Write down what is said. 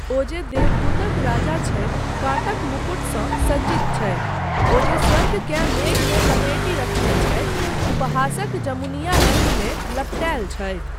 ओ जे देवदूतक राजा छथि काँटक मुकुटसँ सज्जित छथि। ओ जे स्वर्गकेँ मेघमे लपेटि रखने छथि, उपहासक जमुनिया रङ्गमे लपटेल छथि।